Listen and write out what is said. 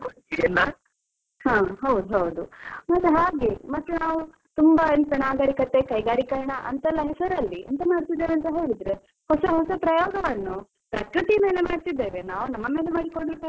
ಹಾ ಹೌದೌದು, ಮತ್ತೆ ಹಾಗೆ ಮತ್ತೆ ನಾವು ತುಂಬಾ ಎಂತಾ ನಾಗರಿಕತೆ ಕೈಗಾರಿಕರಣ ಅಂತೆಲ್ಲ ಹೆಸರಲ್ಲಿ ಎಂತ ಮಾಡ್ತಿದ್ದೇವೆ ಅಂತ ಹೇಳಿದ್ರೆ, ಹೊಸ ಹೊಸ ಪ್ರಯೋಗವನ್ನು ಪ್ರಕೃತಿ ಮೇಲೆ ಮಾಡ್ತಿದ್ದೇವೆ ನಾವು ನಮ್ಮ ಮೇಲೆ ಮಾಡಿ ಕೊಂಡ್ರೆ ಪರವಾಗಿಲ್ಲ.